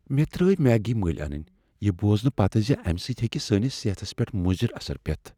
مےٚ ترٲو میگی مٔلۍ انٕنۍ یہ بوزنہٕ پتہٕ ز امہ سۭتۍ ہیٚکہ سٲنس صحتس پیٹھ مضر اثر پیتھ۔